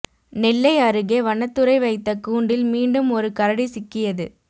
நெல்லை அருகே வனத்துறை வைத்த கூண்டில் மீண்டும் ஒரு கரடி சிக்கியது